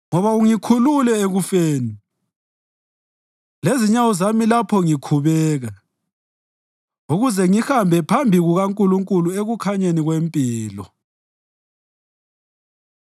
Ngoba ungikhulule ekufeni lezinyawo zami lapho ngikhubeka, ukuze ngihambe phambi kukaNkulunkulu ekukhanyeni kwempilo.